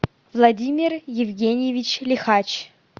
владимир евгеньевич лихач